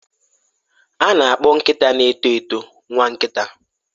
A na-akpọ nkịta na-eto eto nwa nkita.